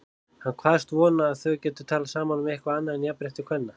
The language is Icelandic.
Hann kvaðst vona að þau gætu talað saman um eitthvað annað en jafnrétti kvenna.